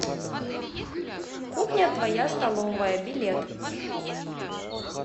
кухня твоя столовая билет